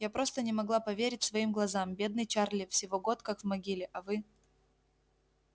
я просто не могла поверить своим глазам бедный чарли всего год как в могиле а вы